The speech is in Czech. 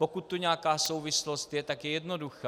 Pokud tu nějaká souvislost je, tak je jednoduchá.